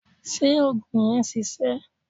Ṣé òògùn yẹn ṣiṣẹ́?